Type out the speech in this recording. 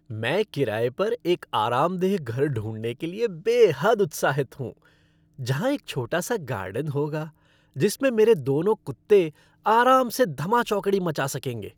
मैं किराए पर एक आरामदेह घर ढूँढने के लिए बेहद उत्साहित हूँ, जहां एक छोटा सा गार्डन होगा जिसमें मेरे दोनों कुत्ते आराम से धमाचौकड़ी मचा सकेंगे।